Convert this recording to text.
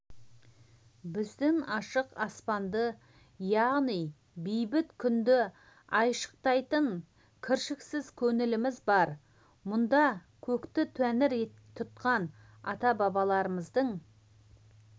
біздің ашық аспанды яғни бейбіт күнді айшықтайтын кіршіксіз көңіліміз бар мұнда көкті тәңір тұтқан ата-бабаларымыздың